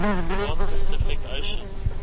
north pacific ocean